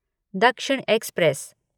दक्षिण एक्सप्रेस